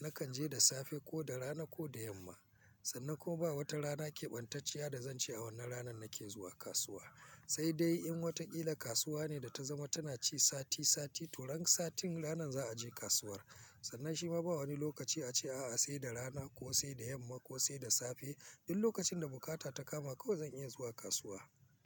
Nakan je da safe ko da rana ko da yamma. Sannan ko ba wata rana keɓantacciya da zan ce a wannan ranan nake zuwa kasuwa. Sai dai in wataƙila kasuwa ne da ta zama tana ci sati sati, to ran sati wannan za a je kasuwar. Sannan shi ma ba wani lokaci a ce a'a sai da rana ko sai da yamma ko sai da safe. Duk lokacin da bukata ta kama kawai zan iya zuwa kasuwa.